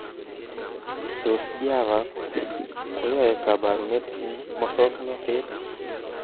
Tos, Java koyoe kabarunet eng musoknotet